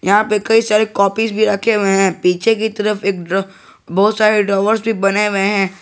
यहां पे कई सारे कॉपीज भी रखे हुए हैं पीछे की तरफ एक बहोत सारे ड्रावर्स भी बने हुए हैं।